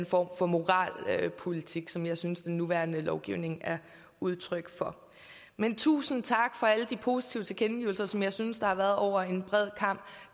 form for moralpolitik som jeg synes den nuværende lovgivning er udtryk for men tusind tak for alle de positive tilkendegivelser som jeg synes der har været over en bred kam